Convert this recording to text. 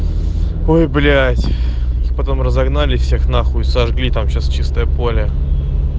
ой блять их потом разогнали всех на хуй и сожгли там сейчас чистое поле